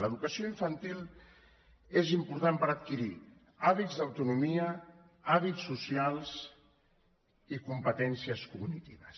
l’educació infantil és important per adquirir hàbits d’autonomia hàbits socials i competències cognitives